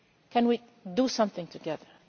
we can do something together.